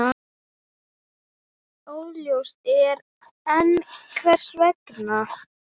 Óljóst er enn hvers vegna.